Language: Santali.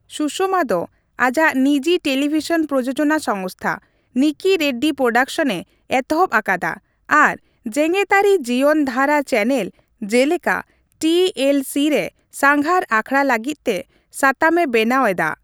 ᱥᱩᱥᱚᱢᱟ ᱫᱚ ᱟᱡᱟᱜ ᱱᱤᱡᱤ ᱴᱮᱞᱤᱵᱷᱤᱥᱚᱱ ᱯᱨᱳᱡᱳᱡᱚᱱᱟ ᱥᱚᱝᱥᱛᱷᱟ, ᱱᱤᱠᱤ ᱨᱮᱰᱰᱤ ᱯᱨᱳᱰᱟᱠᱥᱚᱱᱼᱮ ᱮᱛᱚᱦᱚᱵ ᱟᱠᱟᱫᱟ ᱟᱨ ᱡᱮᱜᱮᱛᱟᱹᱨᱤ ᱡᱤᱭᱚᱱ ᱫᱷᱟᱨᱟ ᱪᱮᱱᱮᱞ ᱡᱮᱞᱮᱠᱟ ᱴᱤ ᱮᱞ ᱥᱤ ᱨᱮ ᱥᱟᱸᱜᱷᱟᱨ ᱟᱠᱷᱲᱟ ᱞᱟᱹᱜᱤᱫ ᱛᱮ ᱥᱟᱛᱟᱢᱮ ᱵᱮᱱᱟᱣ ᱮᱫᱟ ᱾